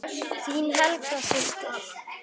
Þín Helga systir.